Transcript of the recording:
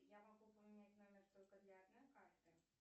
я могу поменять номер только для одной карты